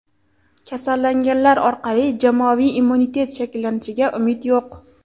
Kasallanganlar orqali jamoaviy immunitet shakllanishiga umid yo‘q.